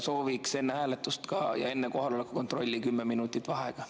Sooviks enne hääletust ja enne kohaloleku kontrolli 10 minutit vaheaega.